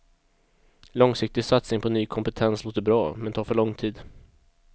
Långsiktig satsning på ny kompentens låter bra, men tar för lång tid.